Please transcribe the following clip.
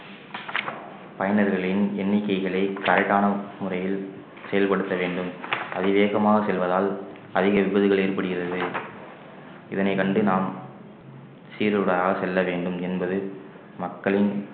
பயனர்களின் எண்ணிக்கைகளை தடைக்கான முறையில் செயல்படுத்த வேண்டும் அதிவேகமாக செல்வதால் அதிக விபத்துகள் ஏற்படுகிறது இதனை கண்டு நாம் சீருடாக செல்ல வேண்டும் என்பது மக்களின்